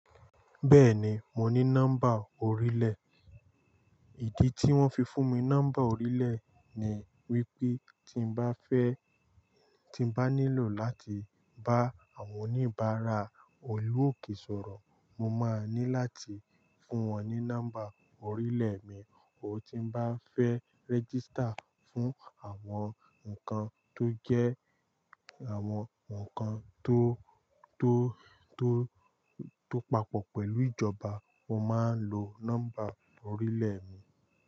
Bẹ́ẹ̀ni, mo ní nọ́mbà orílẹ̀. Ìdí tí wọ́n fi fún mi nọ́mbà orílẹ̀ ni wípé tí n bá fẹ́, tí n bá nílò láti bá àwọn oníbàárà olúòkè sọ̀rọ̀, mo máa ní láti fún wọn ní nọ́mbà orílẹ̀ mi. Tí n bá fẹ́ register fún àwọn nǹkan tó jẹ́ àwọn nǹkan tó, tó, tó, tó papọ̀ pẹ̀lú ìjọba, mo máa ń lo nọ́mbà orílẹ̀ mi.